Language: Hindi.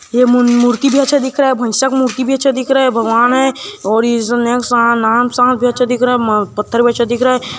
ये मन मूर्ति भी अच्छा दिख रहा है भाईसा मूर्ति भी अच्छा दिख रहा है भगवन है और ये सा नांग सांप जैसा दिख रहा हैं पत्थर भी अच्छा दिख रहा हैं।